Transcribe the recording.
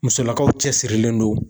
Musolakaw cɛsirilen don